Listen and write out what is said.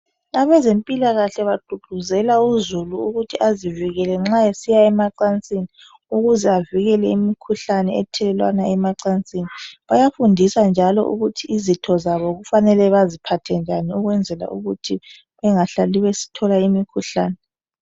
Abezempilakahle bagqugquzela uzulu ukuthi azivikele nxa esiya emacansini ukuze avikele imikhuhlane ethelelwana emacansini. Bayafundisa njalo ukuthi izitho zabo kufanele baziphathe njani ukwenzela ukuthi bengahlali bethola imikhuhlane.